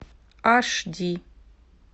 аш ди